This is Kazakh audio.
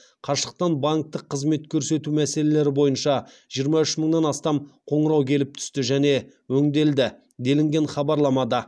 қашықтан банктік қызмет көрсету мәселелері бойынша жиырма үш мыңнан астам қоңырау келіп түсті және өңделді делінген хабарламада